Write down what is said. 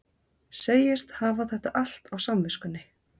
Segist hafa þetta allt á samviskunni.